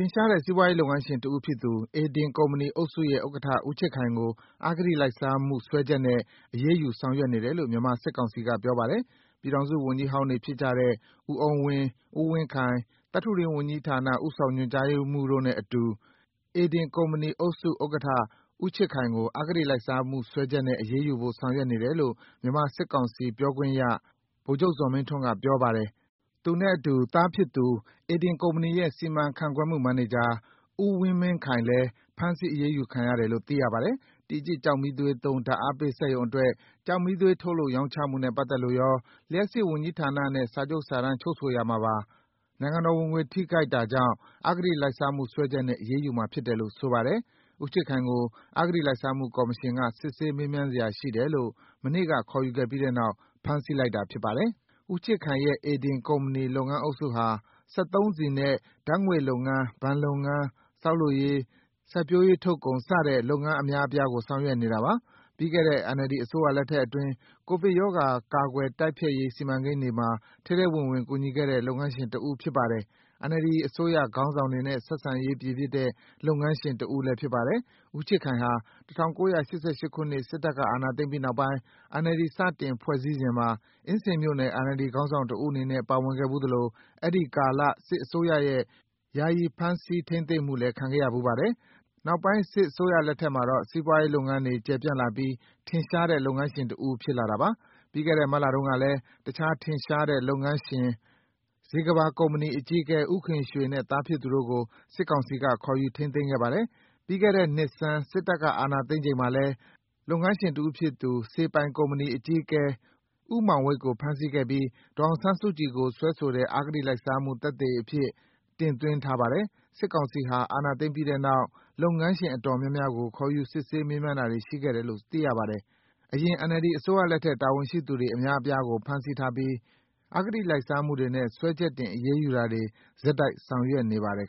င်ရှားတဲ့ စီးပွားရေးလုပ်ငန်းရှင်တဦးဖြစ်သူ ဧဒင်ကုမ္ပဏီအုပ်စုရဲ့ ဥက္ကဋ္ဌ ဦးချစ်ခိုင်ကို အဂတိလိုက်စားမှုစွဲချက်နဲ့ အရေးယူဆောင်ရွက်နေတယ်လို့ မြန်မာစစ်ကောင်စီက ပြောပါတယ်။ ပြည်ထောင်စုဝန်ကြီးဟောင်းတွေဖြစ်တဲ့ကြတဲ့ ဦးအုန်းဝင်း၊ ဦးဝင်းခိုင်၊ သတ္တုတွင်းဝန်ကြီးဌာန ဦးဆောင်ညွှန်ကြားရေးမှူးတို့နဲ့အတူ ဧဒင်ကုမ္ပဏီအုပ်စု ဥက္ကဋ္ဌ ဦးချစ်ခိုင်ကို အဂတိလိုက်စားမှုစွဲချက်နဲ့ အရေးယူဖို့ ဆောင်ရွက်နေတယ်လို့ မြန်မာစစ်ကောင်စီ ပြောခွင့်ရသူ ဗိုလ်ချုပ်ဇော်မင်းထွန်းကပြောတာပါ။ ဦးချစ်ခိုင်ရဲ့သားဖြစ်သူ ဧဒင်ကုမ္ပဏီရဲ့ စီမံခန့်ခွဲမှုမန်နေဂျာ ဦးဝင်းမင်းခိုင်လည်း အရေးယူခံရတယ်လို့သိရပါတယ်။ တီကျစ် ကျောက်မီးသွေးသုံး ဓါတ်အားပေးစက်ရုံအတွက် ကျောက်မီးသွေးထုတ်လုပ်ရောင်းချမှုနဲ့ပတ်သက်လို့ရော၊ လျှပ်စစ်ဝန်ကြီးဌာနဲ့ စာချုပ်စာတမ်းချုပ်ဆိုရာမှာပါ နိုင်ငံတော်ဝင်ငွေထိခိုက်တာကြောင့် အဂတိလိုက်စားမှုစွဲချက်နဲ့ အရေးယူမှာဖြစ်တယ်လို့ဆိုပါတယ်။ ဦးချစ်ခိုင်ကို အဂတိလိုက်စားမှုကော်မရှင်က စစ်ဆေးမေးမြန်းစရာရှိတယ်လို့ မနေ့က ခေါ်ယူခဲ့ပြီးနောက် ဖမ်းဆီးလိုက်တာဖြစ်ပါတယ်။ ဦးချစ်ခိုင်ရဲ့ ဧဒင်ကုမ္ပဏီလုပ်ငန်းအုပ်စုဟာ စက်သုံးဆီနဲ့ ဓါတ်ငွေ့လုပ်ငန်း၊ ဘဏ်လုပ်ငန်း၊ ဆောက်လုပ်ရေး၊ စိုက်ပျိုးရေးထုတ်ကုန် စတဲ့လုပ်ငန်းအများအပြားကို ဆောင်ရွက်နေတာပါ။ ပြီးခဲ့တဲ့ NLD အစိုးရလက်ထက်အတွင်း ကိုဗစ်ရောဂါကာကွယ်တိုက်ဖျက်ရေးစီမံကိန်းတွေမှာ ထဲထဲဝင်ဝင် ကူညီခဲ့တဲ့ လုပ်ငန်းရှင်တဦးဖြစ်ပါတယ်။ NLD အစိုးရခေါင်းဆောင်တွေနဲ့ ဆက်ဆံရေးပြေပြစ်တဲ့ လုပ်ငန်းရှင်ကြီးတဦးလည်းဖြစ်ပါတယ်။ ဦးချစ်ခိုင်ဟာ ၁၉၈၈ ခုနှစ် စစ်တပ်က အာဏာသိမ်းပြီးနောက်ပိုင်း NLD စတင်ဖွဲ့စည်းစဉ်မှာ အင်းစိန်မြို့နယ် NLD ခေါင်းဆောင်တဦးအနေနဲ့ ပါဝင်ခဲ့ဖူးသလို အဲဒီကာလ စစ်အစိုးရရဲ့ ယာယီဖမ်းဆီးထိမ်းသိမ်းမှုလည်း ခံခဲ့ရဖူးပါတယ်။ နောက်ပိုင်း စစ်အစိုးရလက်ထက်မှာတော့ စီးပွားရေးလုပ်ငန်းတွေကျယ်ပြန့်လာပြီး ထင်ရှားတဲ့လုပ်ငန်းရှင်တဦးဖြစ်လာတာပါ။ ပြီးခဲ့တဲ့ မတ်လကုန်ကလည်း အခြားထင်ရှားတဲ့လုပ်ငန်းရှင် ဇေကမ္ဘာကုမ္ပဏီအကြီးအကဲ ဦးခင်ရွှေနဲ့ သားဖြစ်သူတို့ကို စစ်ကောင်စီက ခေါ်ယူထိန်းသိမ်းခဲ့ပါတယ်။ ပြီးခဲ့တဲ့နှစ်ဆန်း စစ်တပ်က အာဏာသိမ်းချိန်မှာလည်း လုပ်ငန်းရှင်တဦးဖြစ်သူ စေပိုင်ကုမ္ပဏီအကြီးအကဲ ဦးမောင်ဝိတ်ကို ဖမ်းဆီးခဲ့ပြီး ဒေါ်အောင်ဆန်းစုကြည်ကို စွဲဆိုတဲ့ အဂတိလိုက်စားမှုမှာ သက်သေအဖြစ် တင်သွင်းထားပါတယ်။ စစ်ကောင်စီဟာ အာဏာသိမ်းပြီးတဲ့နောက် လုပ်ငန်းရှင်အတော်များများကို ခေါ်ယူစစ်ဆေးမေးမြန်းတာတွေရှိခဲ့တယ်လို့ သိရပါတယ်။ အရင် NLD အစိုးရလက်ထက် တာဝန်ရှိသူအများအပြားကို ဖမ်းဆီးထားပြီး အဂတိလိုက်စားမှုတွေနဲ့ စွဲချက်တင် အရေးယူတာတွေ ဆက်တိုက်ဆောင်ရွက်နေပါတယ်